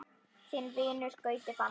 Þinn vinur, Gauti Fannar.